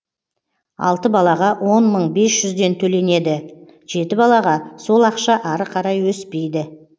алты балаға он мың бес жүзден төленеді жеті балаға сол ақша ары қарай өспейді